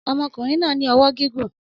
Ọmọkùnrin náà ní ọwọ́ gígùn